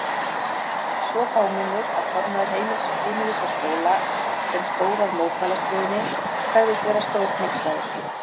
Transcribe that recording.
Svo fámennur að formaður Heimilis og Skóla, sem stóð að mótmælastöðunni sagðist vera stórhneykslaður.